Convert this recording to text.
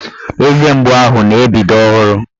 Eze mgbu ahụ na-ebido ọhụrụ